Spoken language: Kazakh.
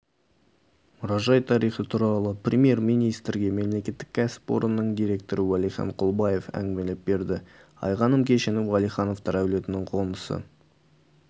мұражай тарихы туралы премьер-министрге мемлекеттік кәсіпорынның директоры уәлихан құлбаев әңгімелеп берді айғаным кешені уәлихановтар әулетінің қонысы